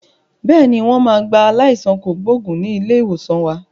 Bẹ́ẹ̀ni, wọn máa gba aláìsàn kògbógùn ni ilé ìwòsàn wa.